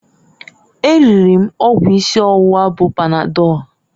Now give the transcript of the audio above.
E riri m ọgwụ isi ọwụwa bụ panadọlụ